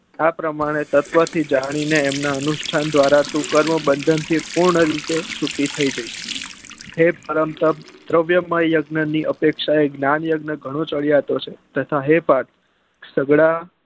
આ પ્રમાંતે તત્વ થી જાની ને એમના અનુસ્થાન દ્વારા તું કર્મ બંધન થી તું પૂર્ણ રીતે છૂટી થઇ જઈસ હે પરમ તપ દ્રવ્ય માં યજ્ઞ ની અપેક્ષા એ જ્ઞાન યજ્ઞ ગણું ચડિયાતું છે તથા હે પાર્થ